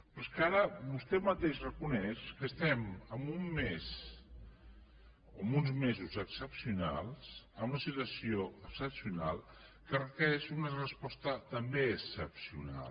però és que ara vostè mateix reconeix que estem en un mes o en uns mesos excepcionals en una situació excepcional que requereix una resposta també excepcional